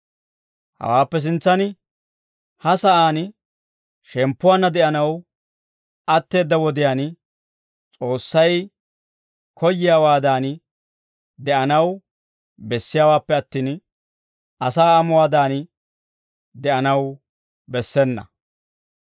Hawaappe sintsan, ha sa'aan shemppuwaanna de'anaw atteedda wodiyaan, S'oossay koyyiyaawaadan de'anaw bessiyaawaappe attin, asaa amuwaadan de'anaw bessena.